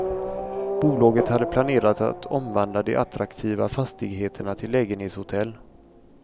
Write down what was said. Bolaget hade planerat att omvandla de attraktiva fastigheterna till lägenhetshotell.